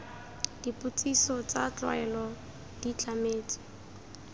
dipotsiso tsa tlwaelo di tlametswe